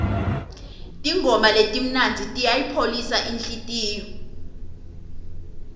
tingoma letimnandzi tiyayipholisa inhlitiyo